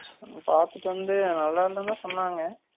பாத்துட்டு வந்து நல்லா இல்லைன்னு தான் சொன்னாங்க